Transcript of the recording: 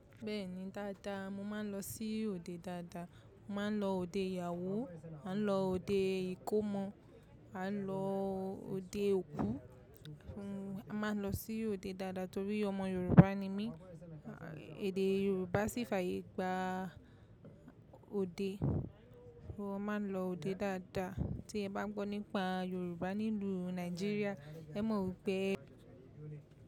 Bẹ́ẹ̀ni dáadáa, mo máa ń lọ sí òde dáadáa, máa ń lọ òde ìyàwó, à ń lọ òde ìkómọ, à ń lọ òde òkú, a máa ń lọ sí òde dáadáa torí ọmọ Yorùbá ni mí. Èdè Yorùbá sì fàyè gba òde. Mo máa ń lọ òde dáadáa tí ẹ bá gbọ́ nípa Yorùbá nínú Nàìjíríà, ẹ mọ̀ wipé.